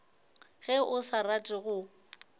ge o sa rate go